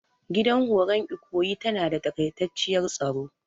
Gidan horon ikoyi tana da takaitaciyar staro.